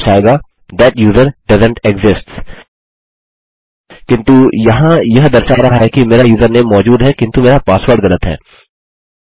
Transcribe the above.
यह दर्शाएगा that user doesn't exists किन्तु यहाँ यह दर्शा रहा है कि मेरा यूज़रनेम मौजूद है किन्तु मेरा पासवर्ड गलत है